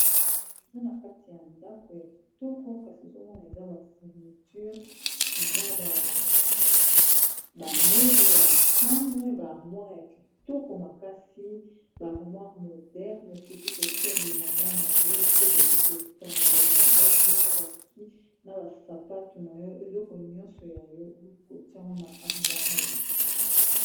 Boye eza na kati ya ndako ya kitoko kasi ozomona eza ba fourniture eza ba meuble ya chambre ba armoire ya kitoko makasi ba harmoire moderne soki kotia bilamba na yo esika okoki kotanda bilamba bien na ba kisi na ba sapatu na yo eleko nyonso ya yo okoki kotia ngo na armoire oyo.